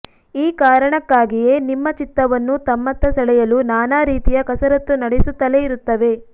ಈ ಕಾರಣಕ್ಕಾಗಿಯೇ ನಿಮ್ಮ ಚಿತ್ತವನ್ನು ತಮ್ಮತ್ತ ಸೆಳೆಯಲು ನಾನಾ ರೀತಿಯ ಕಸರತ್ತು ನಡೆಸುತ್ತಲೇ ಇರುತ್ತವೆ